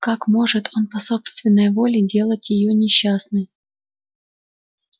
как может он по собственной воле делать её несчастной